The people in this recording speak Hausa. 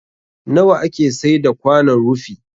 Nawa ake saida kwanon rufi?